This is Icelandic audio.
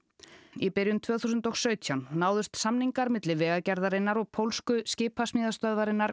í byrjun tvö þúsund og sautján náðust samningar milli Vegagerðarinnar og pólsku skipasmíðastöðvarinnar